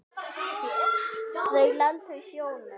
Þau lentu í sjónum.